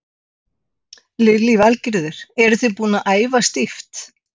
Lillý Valgerður: Eru þið búnar að æfa stíft?